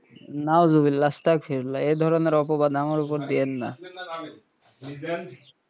নাউজুবিল্লাহি আস্তাগফিরুল্লাহ এ ধরণের অপবাদ আমার ওপর দিয়েন না,